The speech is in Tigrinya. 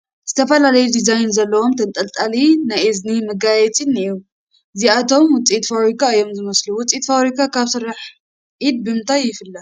ዝተፈላለየ ዲዛይን ዘለዎም ተንጠልጣሊ ናይ እዝኒ መጋየፅታት እኔዉ፡፡ እዚኣቶም ውፅኢት ፋብሪካ እዮም ዝመስሉ፡፡ ውፅኢት ፋብሪካ ካብ ስራሕ ኢድ ብምንታይ ይፍለ?